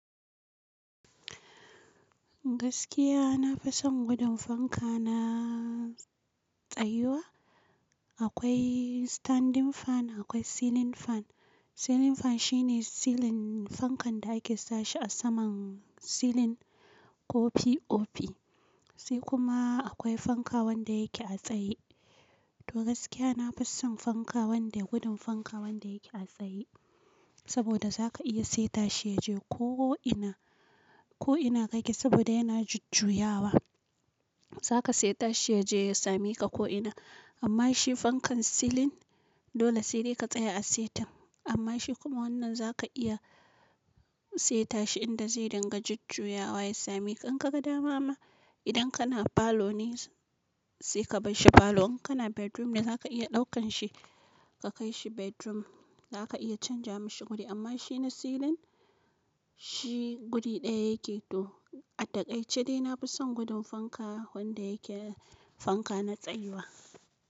Gaskiya na fison gudun fanka na tsayuwa. Akoi standing fan, akwai ceiling fan. Ceiling fan shine ceiling fankan da ake sa shi a saman ceiling ko POP. Sai kuma akwai fanka wanda yake a tsaye. To gaskiya na fison fanka wanda gudun fanka wanda yake a tsaye. Saboda za ka iya seta shi yaje ko ina, ko ina ka ke saboda yana jujjuyawa. Za ka seta shi yaje ya same ka ko ina. Amma shi fankan ceiling dole sai dai ka tsaya a setin. Amma shi kuma wannan za ka iya seta shi in da zai ringa jujjuyawa ya same ka. In ka ga dama ma idan kana parlor ne sai ka bar shi parlor. In kana bedroom ne za ka iya daukan shi ka kai shi bedroom. Za ka iya canza mishi guri amma shi na ceiling shi guri ɗaya yake. To a daƙaice, dai na fison gudun fanka wanda yake fanka na tsayuwa.